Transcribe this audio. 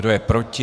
Kdo je proti?